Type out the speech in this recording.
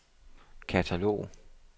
katalog